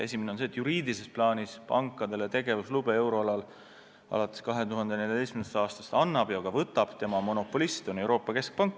Esimene on see, et juriidilises plaanis annab pankadele tegevuslube euroalal alates 2014. aastast monopolistina Euroopa Keskpank.